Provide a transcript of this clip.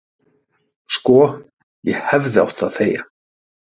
"""Sko, ég hefði átt að þegja"""